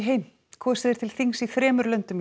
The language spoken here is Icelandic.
kosið er til þings í þremur löndum